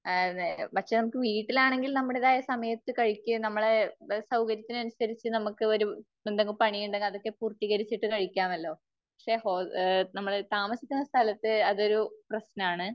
ആ അത് നേരാ. അത് പക്ഷേ നമ്മക്ക് വീട്ടിലാണെങ്കിൽ നമ്മുടേതായ സമയത്ത് കഴിക്കുകയും നമ്മളെ സൌകര്യത്തിനനുസരിച്ച് നമുക്ക് എന്തെങ്കിലും പണിയുണ്ടെങ്കിൽ അതൊക്കെ പൂർത്തീകരിച്ചിട്ട് കഴിക്കാമല്ലോ. പക്ഷേ ഹോ, നമ്മൾ താമസിക്കുന്ന സ്ഥലത്ത് അതൊരു പ്രശ്നമാണ്.